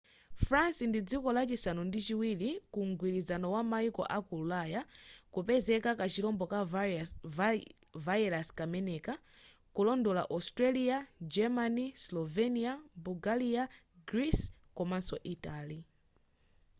france ndi dziko lachisanu ndi chiwiri ku mgwirizano wa mayiko aku ulaya kupezeka kachirombo ka virus kameneka kulondola austria germany slovenia bulgaria greece komanso italy